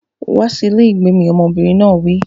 Wá sí ilé ìgbé mi! Ọmọbìnrin náà wí.